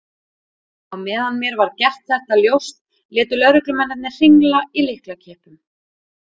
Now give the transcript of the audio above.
Á meðan mér var gert þetta ljóst létu lögreglumennirnir hringla í lyklakippum.